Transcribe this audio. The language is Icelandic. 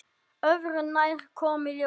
Öðru nær, kom í ljós.